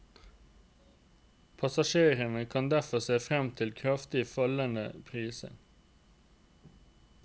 Passasjerene kan derfor se frem til kraftig fallende priser.